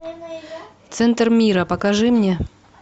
центр мира покажи мне